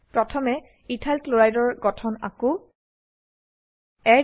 প্ৰথমে ethyl chloride ethyl chloride এৰ গঠন আঁকো